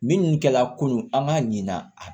Minnu kɛla kunun an b'a ɲinan a